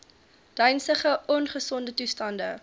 dynsige ongesonde toestande